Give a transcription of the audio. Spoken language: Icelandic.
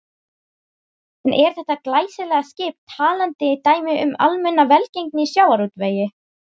En er þetta glæsilega skip talandi dæmi um almenna velgengni í sjávarútvegi?